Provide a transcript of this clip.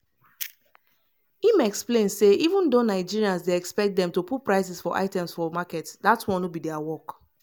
im explain say even though nigerians dey expect dem to put prices for items for market dat one no be dia work.